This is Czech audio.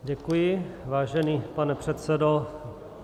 Děkuji, vážený pane předsedo.